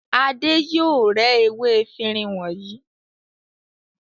Adé yóò rẹ́ ewé efirin wọ̀nyí.